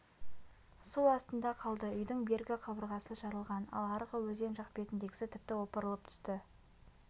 су астында қалды үйдің бергі қабырғасы жарылған ал арғы өзен жақ бетіндегісі тіпті опырылып түсті